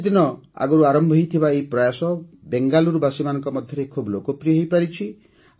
ଏହି କିଛିଦିନ ଆଗରୁ ଆରମ୍ଭ ହୋଇଥିବା ଏହି ପ୍ରୟାସ ବେଙ୍ଗାଲୁରୁବାସୀମାନଙ୍କ ମଧ୍ୟରେ ଖୁବ୍ ଲୋକପ୍ରିୟ ହୋଇପାରିଛି